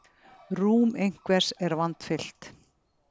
Rúm einhvers er vandfyllt